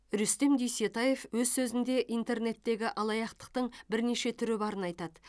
рүстем дүйсетаев өз сөзіне интернеттегі алаяқтықтың бірнеше түрі барын айтады